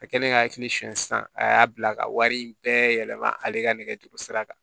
A kɛlen ka hakili suɲɛ sisan a y'a bila ka wari in bɛɛ yɛlɛma ale ka nɛgɛjuru sira kan